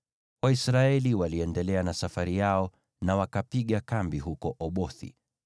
Waisraeli waliendelea na safari yao na wakapiga kambi huko Obothi.